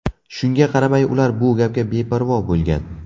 Shunga qaramay, ular bu gapga beparvo bo‘lgan.